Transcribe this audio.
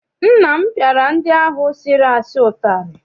Nna m piara ndị ahụ sịrị asị utari.